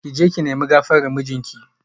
Ki je ki nemi gafarar mijinki